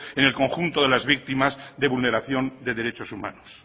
en el conjunto de las víctimas de vulneración de derechos humanos